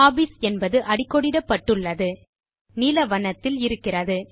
hobbies என்பது அடிக்கோடிடப்பட்டுள்ளது நீல வண்ணத்தில் இருக்கிறது